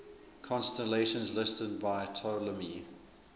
constellations listed by ptolemy